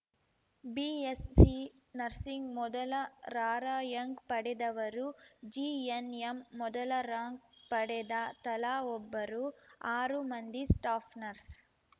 BSc nursing ಮೊದಲ rank ಪಡೆದವರು GNM ಮೊದಲ ರಾಂಕ್‌ ಪಡೆದ ತಲಾ ಒಬ್ಬರು ಆರು ಮಂದಿ ಸ್ಟಾಫ್‌ ನರ್ಸ್‌